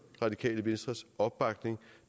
radikale venstres opbakning